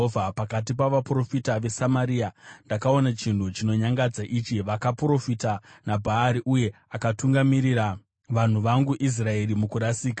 “Pakati pavaprofita veSamaria ndakaona chinhu chinonyangadza ichi: Vakaprofita naBhaari, uye vakatungamirira vanhu vangu vaIsraeri mukurasika.